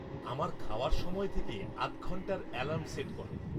আমার খাওয়ার সময় থেকে আধ ঘণ্টার অ্যালার্ম সেট করো